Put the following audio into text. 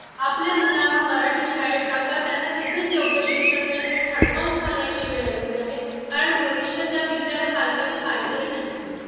आपल्या मुलांना मराठी शाळेत टाका त्यांना तिथेच योग्य शिक्षण मिळेल हे ठणकावून सांगण्याची वेळ आलेली आहे कारण भविष्य त्या बिचाऱ्या पालकांनी पाहिलेही नाही